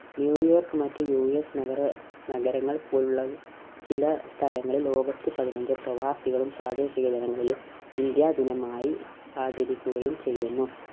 New York മറ്റു U. S നഗര നഗരങ്ങൾ പോലുള്ള ചില സ്ഥലങ്ങളിൽ August പതിനഞ്ച് പ്രവാസികളും പ്രാദേശിക ജനങ്ങളിലും ഇന്ത്യാ ദിനമായി ആചരിക്കുകയും ചെയ്യുന്നു.